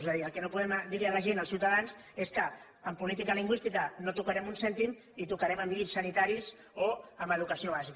és a dir el que no podem dir a la gent als ciutadans és que en política lingüística no tocarem un cèntim i tocarem en llits sanitaris o en educació bàsica